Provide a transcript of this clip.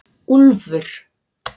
Úlfur